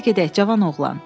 Gəl gedək, cavan oğlan.